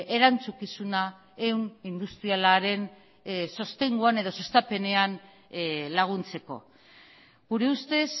erantzukizuna ehun industrialaren sostenguan edo sustapenean laguntzeko gure ustez